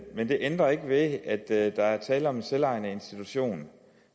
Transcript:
men det ændrer ikke ved at at der er tale om en selvejende institution